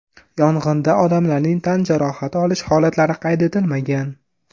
Yong‘inda odamlarning tan jarohati olish holatlari qayd etilmagan.